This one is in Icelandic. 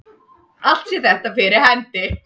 Allt sé þetta fyrir hendi